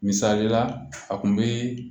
Misali la a kun bi